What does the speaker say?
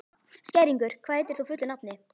Skæringur, hvað heitir þú fullu nafni?